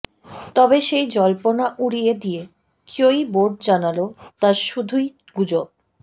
তবে সেই জল্পনা উড়িয়ে দিয়ে কিউই বোর্ড জানাল তা শুধুই গুজব